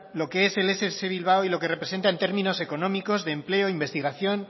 lo que es ess bilbao y lo que representa en términos económicos de empleo investigación